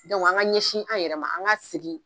an ka ɲɛsin an yɛrɛ an ka segin.